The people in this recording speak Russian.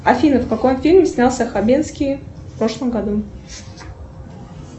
афина в каком фильме снялся хабенский в прошлом году